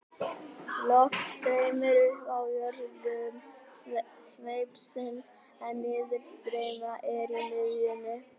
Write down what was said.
Loft streymir upp í jöðrum sveipsins en niðurstreymi er í miðjunni.